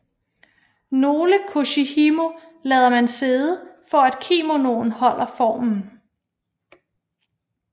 Nogle koshihimo lader man sidde for at kimonoen holder formen